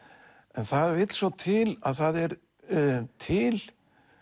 en það vill svo til að það er til